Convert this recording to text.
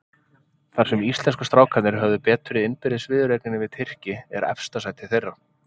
Þar sem íslensku strákarnir höfðu betur í innbyrðis viðureigninni við Tyrki, er efsta sætið þeirra.